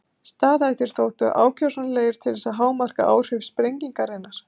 Staðhættir þóttu ákjósanlegir til þess að hámarka áhrif sprengingarinnar.